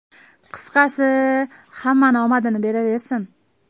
Qisqasi, hammani omadini beraversin.